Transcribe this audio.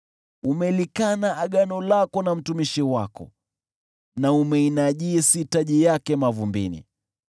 Umelikana agano lako na mtumishi wako, na umeinajisi taji yake mavumbini.